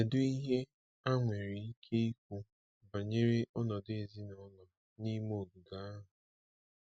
Kedu ihe a nwere ike ikwu banyere ọnọdụ ezinụlọ n’ime ogige ahụ?